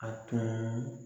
A tun